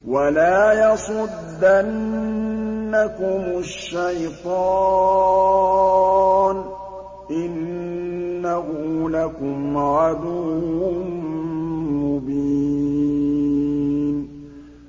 وَلَا يَصُدَّنَّكُمُ الشَّيْطَانُ ۖ إِنَّهُ لَكُمْ عَدُوٌّ مُّبِينٌ